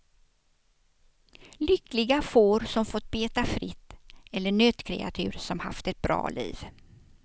Lyckliga får som fått beta fritt, eller nötkreatur som haft ett bra liv.